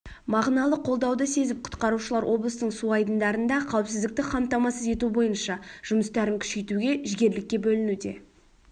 мағыналы қолдауды сезіп құтқарушылар облыстың су айдындарында қауіпсіздікті қамтамасыз ету бойынша жұмыстарын күшейтуге жігерлікке бөлінуде